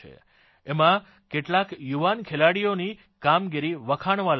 એમાં કેટલાક યુવાન ખેલાડીઓની કામગીરી વખાણવાલાયક રહી